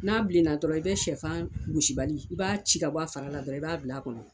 N'a bilenna dɔrɔn i bɛ sɛfan gosibali i b'a ci ka bɔ a fara la dɔrɔn i b'a bila a kɔnɔ